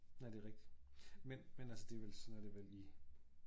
Nej det rigtigt men men altså det vel sådan er det vel i